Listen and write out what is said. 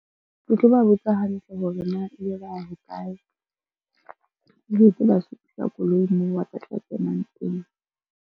Ke tlo ba botsa hantle hore na ebe ba ya hokae, ebe ke ba supisa koloi moo ba tlo tla kenang teng.